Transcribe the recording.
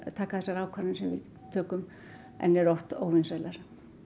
taka þær ákvarðanir sem við tökum en eru oft óvinsælar